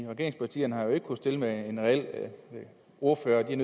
regeringspartierne har ikke kunnet stille med en reel ordfører de er